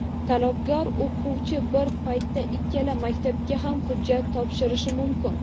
Talabgor o‘quvchi bir paytda ikkala maktabga ham hujjat topshirishi mumkin.